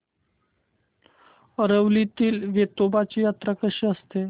आरवलीतील वेतोबाची जत्रा कशी असते